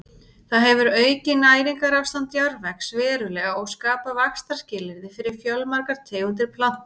Það hefur aukið næringarástand jarðvegs verulega og skapað vaxtarskilyrði fyrir fjölmargar tegundir plantna.